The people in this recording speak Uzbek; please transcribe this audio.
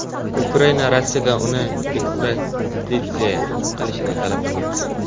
Ukraina Rossiyadan uni ekstraditsiya qilinishini talab qilmoqda.